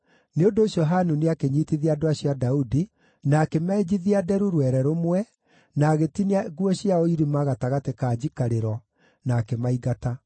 Nĩ ũndũ ũcio Hanuni akĩnyiitithia andũ acio a Daudi, na akĩmenjithia nderu rwere rũmwe, na agĩtinia nguo ciao irima gatagatĩ ka njikarĩro, na akĩmaingata.